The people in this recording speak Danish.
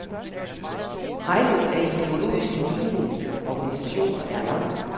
Rækken af ideologisk lignende organisationer er lang.